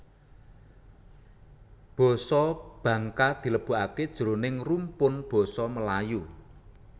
Basa Bangka dilebokaké jroning rumpun basa Melayu